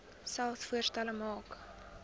selfs voorstelle maak